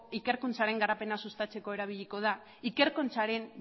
ikerkuntzaren garapena sustatzeko erabiliko da ikerkuntzaren